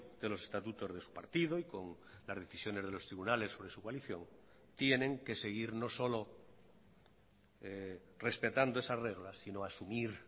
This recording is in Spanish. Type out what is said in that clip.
de los estatutos de su partido y con las decisiones de los tribunales sobre su coalición tienen que seguir no solo respetando esas reglas sino asumir